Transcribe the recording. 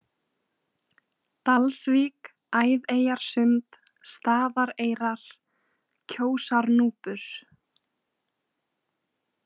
Dalsvík, Æðeyjarsund, Staðareyrar, Kjósarnúpur